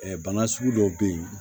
bana sugu dɔw be yen